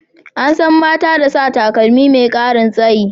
An san mata da sa takalmi mai karin tsayi.